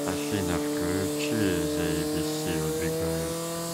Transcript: афина включи зе эйбиси убегаю